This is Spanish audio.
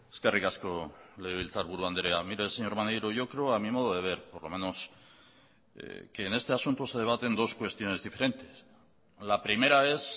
eskerrik asko legebiltzarburu andrea mire señor maneiro yo creo a mi modo de ver por lo menos que en este asunto se debaten dos cuestiones diferentes la primera es